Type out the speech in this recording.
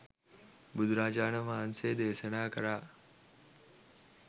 බුදුරජාණන් වහන්සේ දේශනා කළා